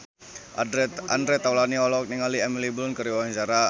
Andre Taulany olohok ningali Emily Blunt keur diwawancara